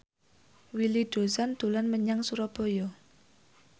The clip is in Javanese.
Willy Dozan dolan menyang Surabaya